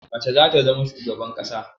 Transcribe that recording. Mace za ta zama shugaban ƙasa.